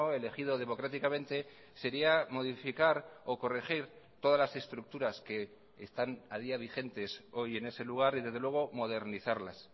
elegido democráticamente sería modificar o corregir todas las estructuras que están a día vigentes hoy en ese lugar y desde luego modernizarlas